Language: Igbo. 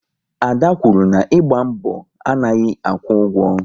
Ada kwuru na "ịgba mbọ anaghị akwụ ụgwọ"